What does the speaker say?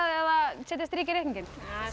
eða setja strik í reikninginn